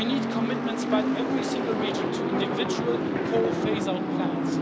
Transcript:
We need commitments by every single region to individual coal phase out plans.